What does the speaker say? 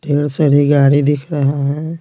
ढेर सारी गाड़ी दिख रहा है।